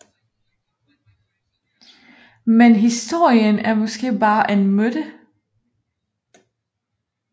Men historien er måske bare en myte